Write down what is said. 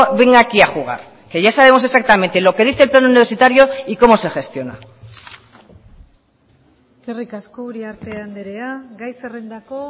venga aquí a jugar que ya sabemos exactamente lo que dice el plan universitario y cómo se gestiona eskerrik asko uriarte andrea gai zerrendako